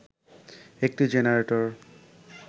একটি জেনারেটর